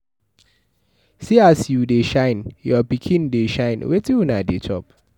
See as you dey shine, your pikin dey shine. Wetin una dey chop?